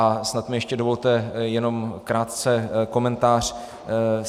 A snad mi ještě dovolte jenom krátce komentář.